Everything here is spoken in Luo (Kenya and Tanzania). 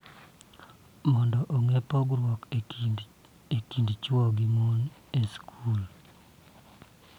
Mondo ogeng� pogruok e kind chwo gi mon e skul,